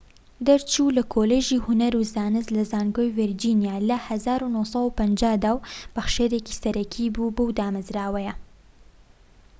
دەرچوو لە کۆلیژی هونەر و زانست لە زانکۆی ڤیرجینیا لە ١٩٥٠ دا و بەخشەرێکی سەرەکی بووە بەو دامەزراوەیە